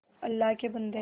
अल्लाह के बन्दे